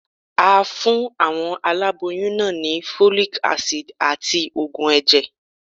A fún àwọn aláboyún náà ni Folic Acid àti Ògùn ẹ̀jẹ̀.